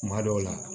Kuma dɔw la